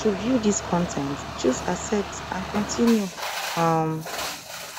to view dis con ten t choose accept and continue um